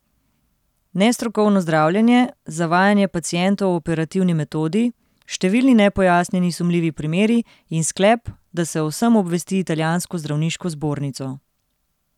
Nestrokovno zdravljenje, zavajanje pacientov o operativni metodi, številni nepojasnjeni sumljivi primeri in sklep, da se o vsem obvesti italijansko zdravniško zbornico.